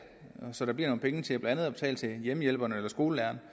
så der bliver nogle penge til blandt andet at betale hjemmehjælperne eller skolelærerne